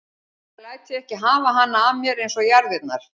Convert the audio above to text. Ég læt þig ekki hafa hana af mér eins og jarðirnar.